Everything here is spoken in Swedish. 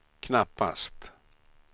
knappast